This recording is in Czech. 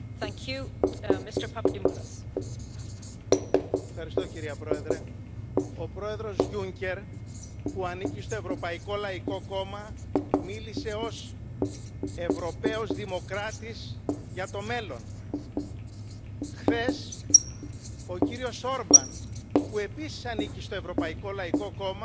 Paní předsedající, vážený pane předsedo Komise, jsem velmi ráda, že jste nakonec dokázal srovnat priority pro práci Komise tak, jak ji vnímáme i my, občané ze střední a východní Evropy, že vidíte bezpečnost jako skutečnou prioritu. Souhlasím také